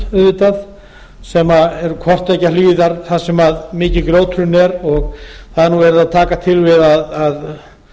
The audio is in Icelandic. auðvitað sem eru hvort tveggja hliðar þar sem mikið grjóthrun er og það er nú verið að taka til við að